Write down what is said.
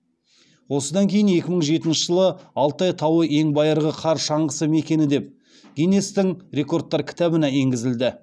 осыдан кейін екі мың жетінші жылы алтай тауы ең байырғы қар шаңғысы мекені деп гиннестің рекордтар кітабына енгізілді